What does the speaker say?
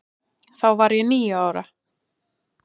Þá var ég níu ára.